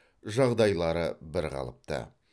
жағдайлары бірқалыпты